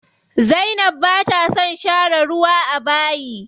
Zainab bata son share ruwa a bayi.